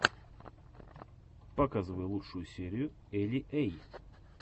показывай лучшую серию эли эй